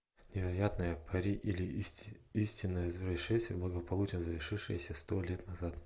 невероятное пари или истинное происшествие благополучно завершившееся сто лет назад